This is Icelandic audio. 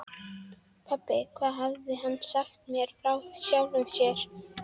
Pabbi, hvað hafði hann sagt mér frá sjálfum sér?